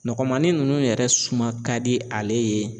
Nɔgɔmanin ninnu yɛrɛ suma ka di ale ye